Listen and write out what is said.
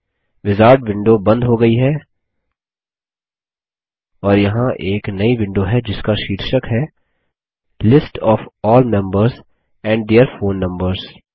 wizard window बंद हो गयी है और यहाँ एक नई विंडो है जिसका शीर्षक है list of all members and their phone numbers